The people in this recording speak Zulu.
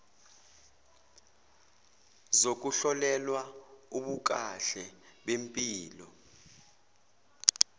zokuhlolelwa ubukahle bempilo